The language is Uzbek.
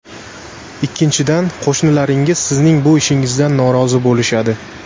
Ikkinchidan, qo‘shnilaringiz sizning bu ishingizdan norozi bo‘lishadi.